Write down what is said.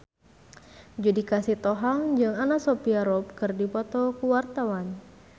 Judika Sitohang jeung Anna Sophia Robb keur dipoto ku wartawan